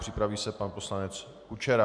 Připraví se pan poslanec Kučera.